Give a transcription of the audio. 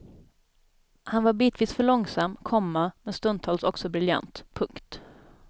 Han var bitvis för långsam, komma men stundtals också briljant. punkt